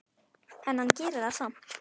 En hann gerir það samt.